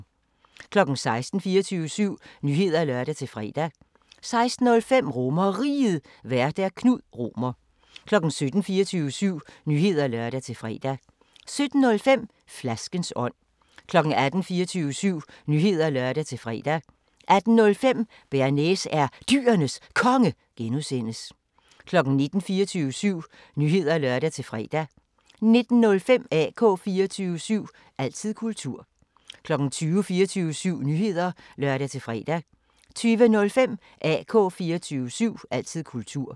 16:00: 24syv Nyheder (lør-fre) 16:05: RomerRiget, Vært: Knud Romer 17:00: 24syv Nyheder (lør-fre) 17:05: Flaskens ånd 18:00: 24syv Nyheder (lør-fre) 18:05: Bearnaise er Dyrenes Konge (G) 19:00: 24syv Nyheder (lør-fre) 19:05: AK 24syv – altid kultur 20:00: 24syv Nyheder (lør-fre) 20:05: AK 24syv – altid kultur